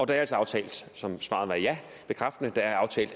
det er altså aftalt så mit svar er bekræftende det er